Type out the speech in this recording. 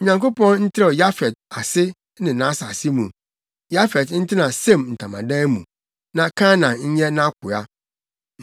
Onyankopɔn ntrɛw Yafet ase ne nʼasase mu. Yafet ntena Sem ntamadan mu, na Kanaan nyɛ nʼakoa.”